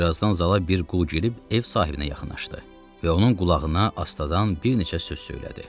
Bir azdan zala bir qul girib ev sahibinə yaxınlaşdı və onun qulağına astadan bir neçə söz söylədi.